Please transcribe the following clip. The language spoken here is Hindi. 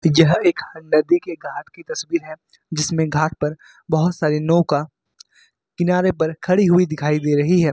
यह एक नदी के घाट की तस्वीर है जिसमें घाट पर बहुत सारी नौका किनारे पर खड़ी हुई दिखाई दे रही है।